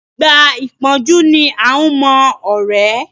Ìgbà ìpọ́njú ni à ń mọ ọ̀rẹ́.